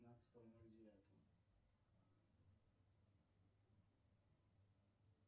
пятнадцатого ноль девятого